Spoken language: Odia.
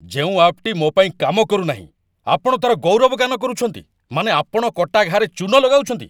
ଯେଉଁ ଆପ୍‌ଟି ମୋ ପାଇଁ କାମ କରୁନାହିଁ, ଆପଣ ତା'ର ଗୌରବ ଗାନ କରୁଛନ୍ତି, ମାନେ ଆପଣ କଟା ଘା'ରେ ଚୂନ ଲଗାଉଛନ୍ତି।